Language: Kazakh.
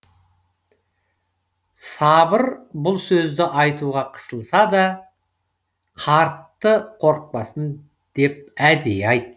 сабыр бұл сөзді айтуға қысылса да қартты қорықпасын деп әдейі айтты